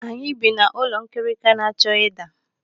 Anyị bi n'ụlọ nkirika na-achọ ịda.